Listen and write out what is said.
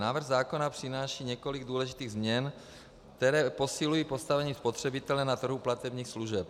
Návrh zákona přináší několik důležitých změn, které posilují postavení spotřebitele na trhu platebních služeb.